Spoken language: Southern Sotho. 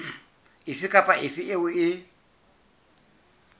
efe kapa efe eo e